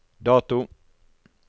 dato